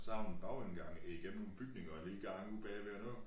Så har hun en bagindgang igennem nogle bygninger og en lille gang ude bagved og noget